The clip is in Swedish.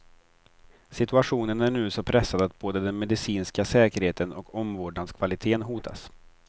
Situationen är nu så pressad att både den medicinska säkerheten och omvårdnadskvaliteten hotas.